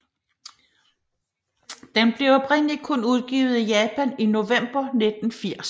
Den blev oprindeligt kun udgivet i Japan i november 1980